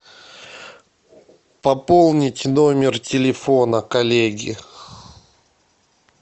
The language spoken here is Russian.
пополнить номер телефона коллеги